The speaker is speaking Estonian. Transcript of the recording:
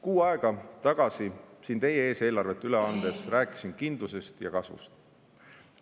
Kuu aega tagasi siin teie ees eelarvet üle andes rääkisin kindlusest ja kasvust.